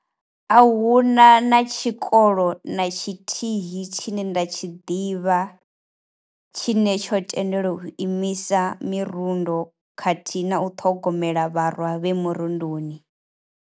A huna na tshikolo na tshithihi tshine nda tshi ḓivha tshine tsho tendelwa u imisa mirundo khathihi na u ṱhogomela vharwa vhe murunduni.